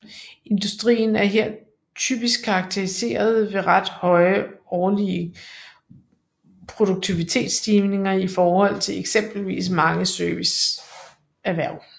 Industrien er her typisk karakteriseret ved ret høje årlige produktivitetsstigninger i forhold til eksempelvis mange serviceerhverv